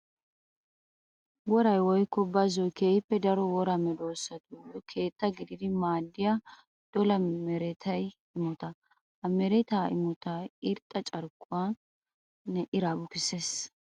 Woray woykko bazzoy keehippe daro wora medosattuyo keetta gididdi maadiya dolla meretta imotta. Ha meretta imottay irxxa carkkuwanne iraa bukkisees.